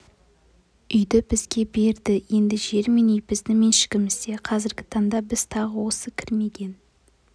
үйді бізге берді енді жер мен үй біздің меншігімізде қазіргі таңда біз тағы осы кірмеген